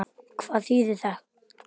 Hvað þýðir það?